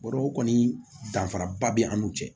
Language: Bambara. Bɔrɔ o kɔni danfaraba bɛ an n'u cɛ